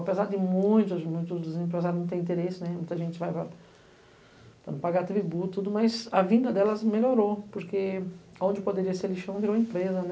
Apesar de muitos, muitos dos empresários não terem interesse, muita gente vai para não pagar tributo, mas a vinda delas melhorou, porque onde poderia ser lixão virou empresa.